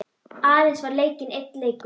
Aðeins var leikinn einn leikur.